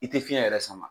I tɛ fiɲɛ yɛrɛ sama